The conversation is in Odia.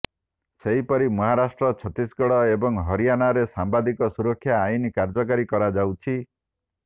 ସେହିପରି ମହାରାଷ୍ଟ୍ର ଛତିଶଗଡ଼ ଏବଂ ହରିଆନାରେ ସାମ୍ବାଦିକ ସୁରକ୍ଷା ଆଇନ କାର୍ଯ୍ୟକାରୀ କରାଯାଇଛି